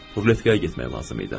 Ruletkaya getmək lazım idi.